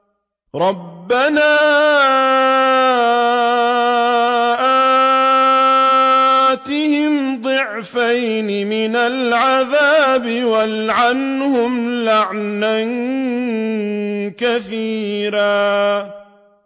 رَبَّنَا آتِهِمْ ضِعْفَيْنِ مِنَ الْعَذَابِ وَالْعَنْهُمْ لَعْنًا كَبِيرًا